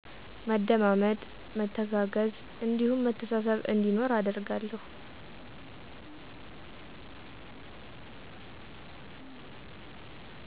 መደማመጥ፣ መተጋገዝ እንዲሁም መተሳሰብ እንዲኖር አደርጋለሁ።